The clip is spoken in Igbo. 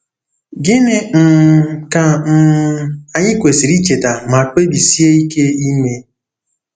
Gịnị um ka um anyị kwesịrị icheta ma kpebisie ike ime?